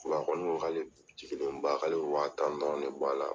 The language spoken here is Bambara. kɔfɛ a kɔni k'ale jigilen ba, k'ale bɛ wa tan dɔrɔn de b'a la.